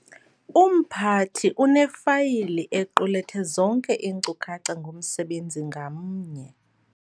Umphathi unefayili equlethe zonke iinkcukacha ngomsebenzi ngamnye.